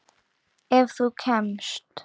Ef þú kemst?